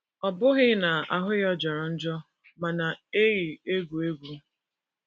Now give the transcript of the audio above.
Ọ bụghị n’ihi na ahụ ya jọrọ njọ ma na - eyi egwu egwu